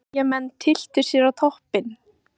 Eyjamenn tylltu sér á toppinn